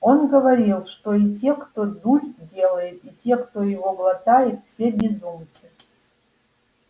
он говорил что и те кто дурь делает и те кто её глотает все безумцы